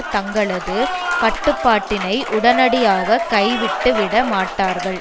தங்களது கட்டுப்பாட்டினை உடனடியாக கைவிட்டுவிட மாட்டார்கள்